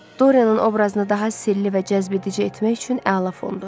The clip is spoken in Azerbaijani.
Dorianın obrazını daha sirli və cəzbedici etmək üçün əla fondur.